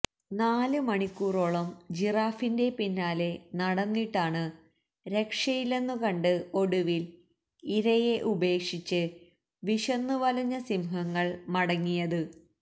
നാല് മണിക്കൂറോളം ജിറാഫിന്റെ പിന്നാലെ നടന്നിട്ടാണ് രക്ഷയില്ലെന്നു കണ്ട് ഒടുവിൽ ഇരയെ ഉപേക്ഷിച്ച് വിശന്നുവലഞ്ഞ സിംഹങ്ങൾ മടങ്ങിയത്